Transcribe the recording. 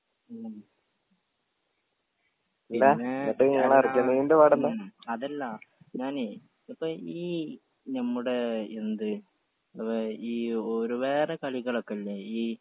ഉം അതല്ല ഞാനേ ഇപ്പൊ ഈ നമ്മുടെ എന്ത് ഏഹ് ഈ ഒര് വേറെ കളികളൊക്കെ ഇല്ലേ ഈ